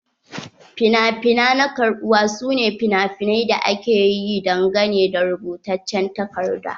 Finafina na karbuwa su ne finafinai da aka yi dangane da rubutaccen takarda.